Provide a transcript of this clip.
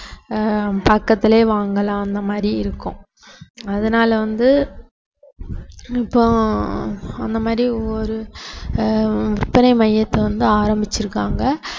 ஆஹ் பக்கத்திலேயே வாங்கலாம் அந்த மாதிரி இருக்கும் அதனால வந்து இப்போ அந்த மாதிரி ஒரு ஆஹ் விற்பனை மையத்தை வந்து ஆரம்பிச்சிருக்காங்க